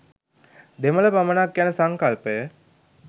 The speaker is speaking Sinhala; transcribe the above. දෙමළ පමණක් යන සංකල්පය